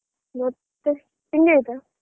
ಮತ್ತೆ ತಿಂಡಿ ಆಯ್ತಾ?